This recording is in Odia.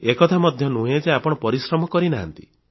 ଏ କଥା ମଧ୍ୟ ନୁହେଁ ଯେ ଆପଣ ପରିଶ୍ରମ କରି ନାହାନ୍ତି